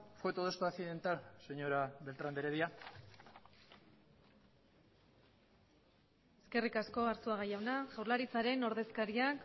fue todo esto accidental señora beltrán de heredia eskerrik asko arzuaga jauna jaurlaritzaren ordezkariak